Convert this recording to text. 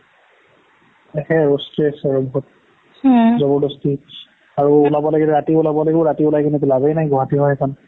তাকেই stress আৰু বহুত জবৰদস্তি আৰু ওলাব লাগিলে ৰাতি ওলাব লাগিব ৰাতি ওলাই কিনেতো লাভেই নাই গুৱাহাটী হয় এইখন